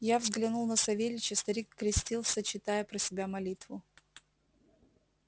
я взглянул на савельича старик крестился читая про себя молитву